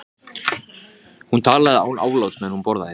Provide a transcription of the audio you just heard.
Íslands á sumri komanda þegar norræna mótið verður haldið.